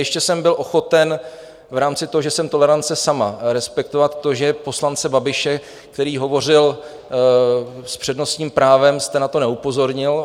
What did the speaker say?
Ještě jsem byl ochoten v rámci toho, že jsem tolerance sama, respektovat to, že poslance Babiše, který hovořil s přednostním právem, jste na to neupozornil.